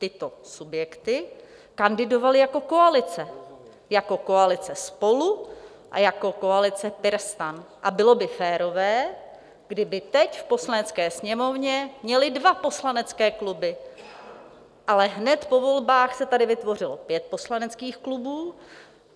Tyto subjekty kandidovaly jako koalice, jako koalice SPOLU a jako koalice PirSTAN, a bylo by férové, kdyby teď v Poslanecké sněmovně měly dva poslanecké kluby, ale hned po volbách se tady vytvořilo pět poslaneckých klubů.